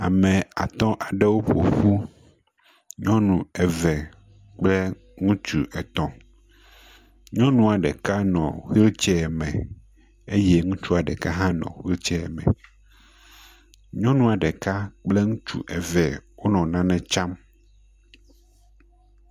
Ame atɔ aɖewo ƒoƒu. Nyɔnu eve kple ŋutsu etɔ̃. Nyɔnua ɖeka nɔ wheelchair me eye ŋutsua ɖeka hã nɔ wheelchair me. Nyɔnua ɖeka kple ŋutsu eve wonɔ nane tsam.